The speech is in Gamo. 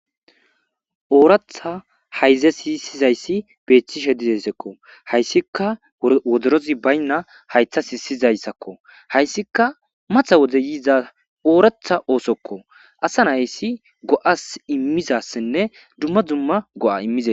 Ooratha hayze siisizayssi beeththishe didesekko hayssika woderozi baynna haytha hisizayssakko hayssika matha wode yiiza ooratha oosokko asa nayssi go'as immizassinne dumma dumma go'a immizee.